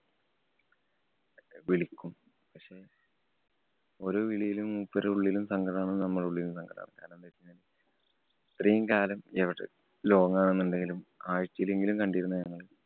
വിളിക്കും. പക്ഷേ, ഓരോ വിളിയിലും മൂപ്പരുടെ ഉള്ളിലും സങ്കടമാണ്. നമ്മുടെ ഉള്ളിലും സങ്കടമാണ്. കാരണം എന്തെന്നുവച്ച് കഴിഞ്ഞാ ഇത്രയും കാലം long ആണെന്നുണ്ടെങ്കിലും ആഴ്ചയിലെങ്കിലും കണ്ടിരുന്നു ഞങ്ങള്.